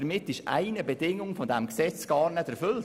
Damit ist eine Bedingung dieses Gesetzes gar nie erfüllt.